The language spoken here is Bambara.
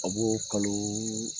A b'o kalo